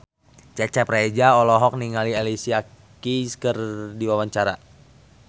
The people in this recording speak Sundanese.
Cecep Reza olohok ningali Alicia Keys keur diwawancara